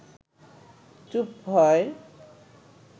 চুপ হয়